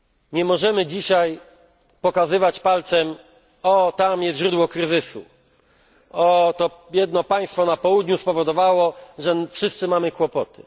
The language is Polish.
Nie możemy dzisiaj pokazywać palcem o, tam jest źródło kryzysu, o, to biedne państwo na południu spowodowało, że wszyscy mamy kłopoty.